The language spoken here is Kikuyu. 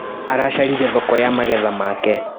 Aracaririe thoko ya magetha make.